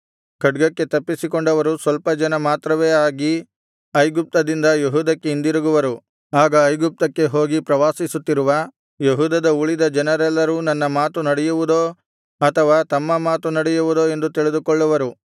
ಖಡ್ಗಕ್ಕೆ ತಪ್ಪಿಸಿಕೊಂಡವರು ಸ್ವಲ್ಪ ಜನ ಮಾತ್ರವೇ ಆಗಿ ಐಗುಪ್ತದಿಂದ ಯೆಹೂದಕ್ಕೆ ಹಿಂದಿರುಗುವರು ಆಗ ಐಗುಪ್ತಕ್ಕೆ ಹೋಗಿ ಪ್ರವಾಸಿಸುತ್ತಿರುವ ಯೆಹೂದದ ಉಳಿದ ಜನರೆಲ್ಲರೂ ನನ್ನ ಮಾತು ನಡೆಯುವುದೋ ಅಥವಾ ತಮ್ಮ ಮಾತು ನಡೆಯುವುದೋ ಎಂದು ತಿಳಿದುಕೊಳ್ಳುವರು